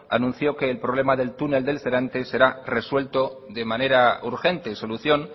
anunció que el problema del túnel del serantes será resuelto de manera urgente solución